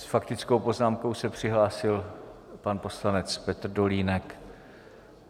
S faktickou poznámkou se přihlásil pan poslanec Petr Dolínek.